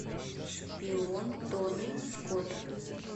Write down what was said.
шпион тони скотта